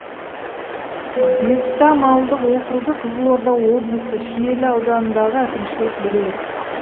бестам ауылдық округі қызылорда облысы шиелі ауданындағы әкімшілік бірлік